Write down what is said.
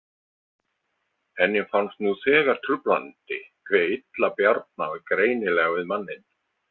Henni fannst nú þegar truflandi hve illa Bjarna var greinilega við manninn.